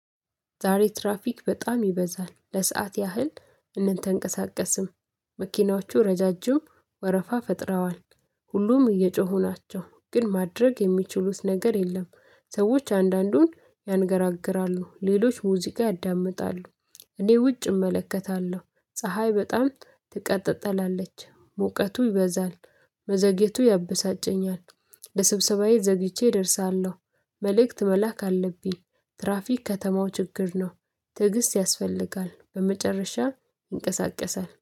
ዛሬ ትራፊክ በጣም ይበዛል ለሰአት ያህል አንንቀሳቀስም። መኪናዎቹ ረዣዥም ወረፋ ፈጥረዋል። ሁሉም እየጮሁ ናቸው ግን ማድረግ የሚችሉት ነገር የለም። ሰዎች አንዳንዱን ያንገራግራሉ ሌሎች ሙዚቃ ያዳምጣሉ። እኔ ውጭ እመለከታለሁ ፀሀይ በጣም ታቃጥላለች ሙቀቱ ይበዛል። መዘግየቱ ያበሳጨኛል። ለስብሰባዬ ዘግይቼ እደርሳለሁ። መልእክት መላክ አለብኝ። ትራፊክ ከተማው ችግር ነው። ትዕግስት ያስፈልጋል በመጨረሻ ይንቀሳቀሳል